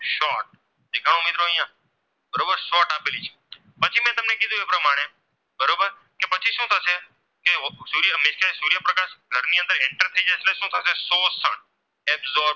એટલે સુ થશે શોસણ